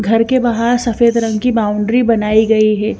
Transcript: घर के बाहर सफेद रंग की बाउंड्री बनाई गई है।